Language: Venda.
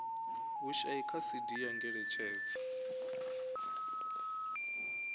vhushai kha cd ya ngeletshedzo